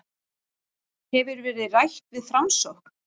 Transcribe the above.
Hefur verið rætt við Framsókn